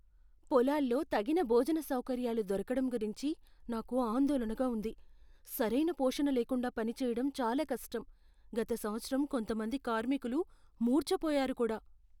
పొలాల్లో తగిన భోజన సౌకర్యాలు దొరకడం గురించి నాకు ఆందోళనగా ఉంది. సరైన పోషణ లేకుండా పనిచేయడం చాలా కష్టం, గత సంవత్సరం కొంతమంది కార్మికులు మూర్ఛపోయారు కూడా!